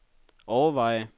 overveje